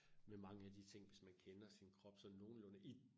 Med mange af de ting som man kender sin krop sådan nogenlunde i